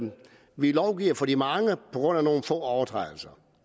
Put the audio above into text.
vi lovgiver for de mange på grund af nogle få personers overtrædelser